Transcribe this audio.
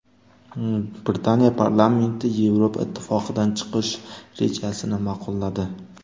Britaniya parlamenti Yevropa Ittifoqidan chiqish rejasini ma’qulladi.